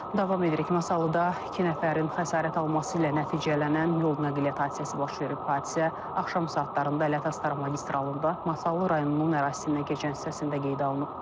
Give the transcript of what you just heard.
Davam edirik, Masallıda iki nəfərin xəsarət alması ilə nəticələnən yol nəqliyyat hadisəsi baş verib, hadisə axşam saatlarında Ələt-Astara magistralında Masallı rayonunun ərazisindən keçən hissəsində qeydə alınıb.